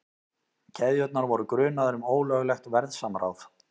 Keðjurnar voru grunaðar um ólöglegt verðsamráð